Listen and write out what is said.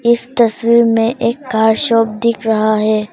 इस तस्वीर में एक कार शॉप दिख रहा है।